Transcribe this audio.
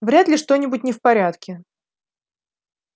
вряд ли что-нибудь не в порядке